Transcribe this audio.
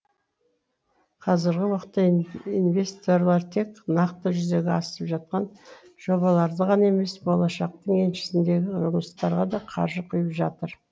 қазіргі уақытта инвесторлар тек нақты жүзеге асып жатқан жобаларды ғана емес болашақтың еншісіндегі жұмыстарға да қаржы құйып жатыр